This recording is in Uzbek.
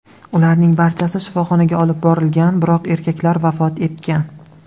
Ularning barchasi shifoxonaga olib borilgan, biroq erkaklar vafot etgan.